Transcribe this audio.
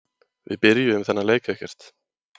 Við byrjuðum þennan leik ekkert.